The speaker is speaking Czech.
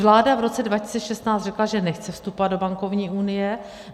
Vláda v roce 2016 řekla, že nechce vstupovat do bankovní unie.